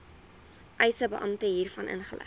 eisebeampte hiervan inlig